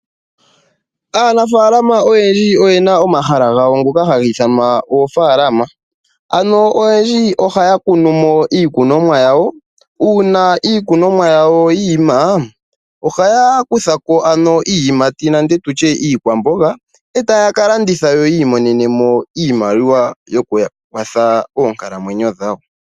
Aanafaalama oyendji oye na omahala gawo ngoka haga ithanwa oofaalama. Oyendji ohaya kunu mo iikunomwa yawo uuna iikunomwa yawo yi ima, ohaya kutha ko iiyimati nenge iikwamboga e taya ka landitha yo yi imonene mo iimaliwa yokuya kwatha moonkalamwenyo dhawo.